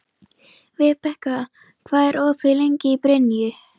Vibeka, hvað er opið lengi í Brynju?